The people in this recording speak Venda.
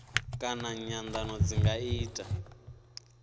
kana nyandano zwi nga ita